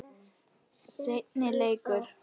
Seinni leikur